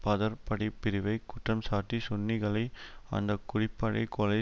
பதர் படைப்பிரிவை குற்றம்சாட்டி சுன்னிகளை அந்த குடிப்படை கொலை